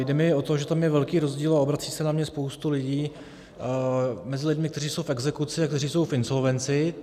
Jde mi o to, že tam je velký rozdíl, a obrací se na mě spousta lidí, mezi lidmi, kteří jsou v exekuci a kteří jsou v insolvenci.